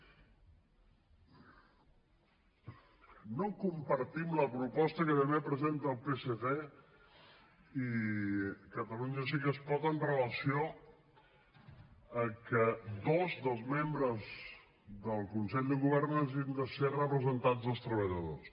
no compartim la proposta que també presenten el psc i catalunya sí que es pot amb relació a que dos dels membres del consell de govern hagin de ser representants dels treballadors